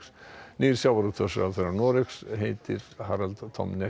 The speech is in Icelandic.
nýr sjávarútvegsráðherra Noregs heitir Harald Tom